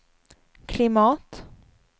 klimat